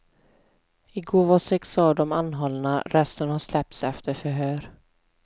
Igår var sex av dem anhållna, resten har släppts efter förhör.